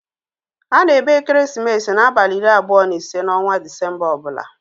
A na-eme ekeresimesi n'abalị iri abụọ na ise n'ọnwa Disemba ọ bụla.